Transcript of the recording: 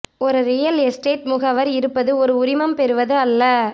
ஒரு real estate முகவர் இருப்பது ஒரு உரிமம் பெறுவது அல்ல